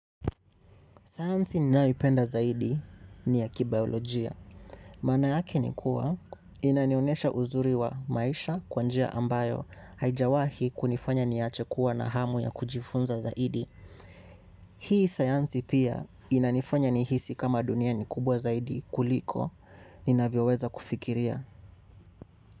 Sayansi ninayoipenda zaidi ni ya kibaolojia. Maana yake ni kuwa inanionyesha uzuri wa maisha kwa njia ambayo haijawahi kunifanya niwache kuwa na hamu ya kujifunza zaidi. Hii sayansi pia inanifanya nihisi kama dunia ni kubwa zaidi kuliko inavyoweza kufikiria.